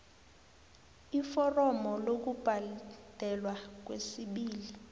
iforomo lokubhadelwa kwesibili